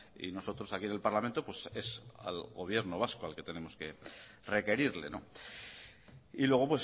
y nosotros aquí en el parlamento pues es al gobierno vasco al que tenemos que requerirle y luego